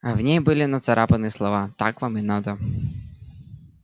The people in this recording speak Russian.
а в ней были нацарапаны слова так вам и надо